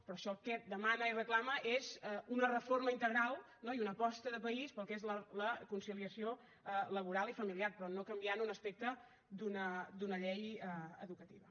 però això el que demana i reclama és una reforma integral no i una aposta de país per al que és la conciliació laboral i familiar però no canviant un aspecte d’una llei educativa